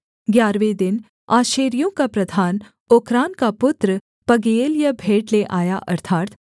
ग्यारहवें दिन आशेरियों का प्रधान ओक्रान का पुत्र पगीएल यह भेंट ले आया